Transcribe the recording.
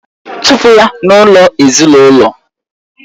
chụpụ ya n'ụlọ ezinaụlọ!